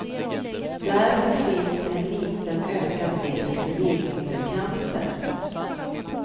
Därför finns en liten ökad risk för livmodercancer.